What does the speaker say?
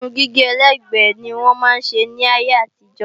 Irun gígé ẹlẹ́gbẹ́ ni wọ́n máa ń ṣe ní ayé àtijọ́